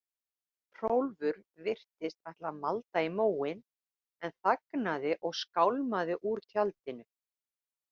Hrólfur virtist ætla að malda í móinn en þagnaði og skálmaði úr tjaldinu.